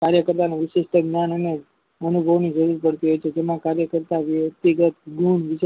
કાર્ય કર્તાની વીચીત જ્ઞાન અને કરતી હોય છે જેમાં કાર્ય કરતા વ્યક્તિગત ગુણ